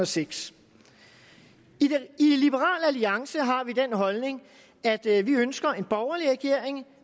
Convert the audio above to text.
seks i liberal alliance har vi den holdning at vi ønsker en borgerlig regering